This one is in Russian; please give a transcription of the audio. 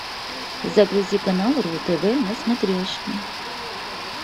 загрузи канал ру тв на смотрешке